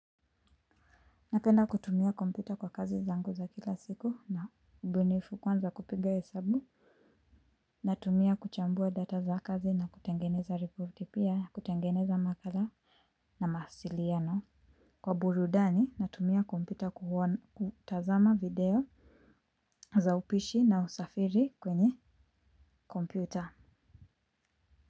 Napenda kutumia kompyta kwa kazi zangu za kila siku na ubunifu kwanza kupiga hesabu. Natumia kuchambua data za kazi na kutengeneza repoti pia kutengeneza makala na mahasiliano. Kwa burudani natumia kompyta kuona kutazama video za upishi na usafiri kwenye kompyta.